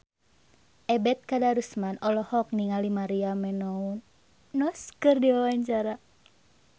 Ebet Kadarusman olohok ningali Maria Menounos keur diwawancara